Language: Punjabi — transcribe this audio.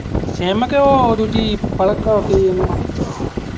ਸਿੰਮ ਕਿ ਉਹ ਦੂਜੀ